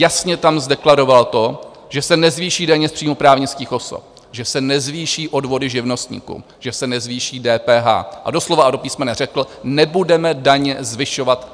Jasně tam deklaroval to, že se nezvýší daně z příjmu právnických osob, že se nezvýší odvody živnostníků, že se nezvýší DPH, a do slova a do písmene řekl: nebudeme daně zvyšovat.